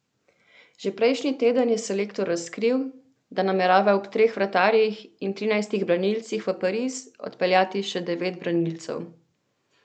Že prejšnji teden je selektor razkril, da namerava ob treh vratarjih in trinajstih branilcih v Pariz odpeljati še devet branilcev.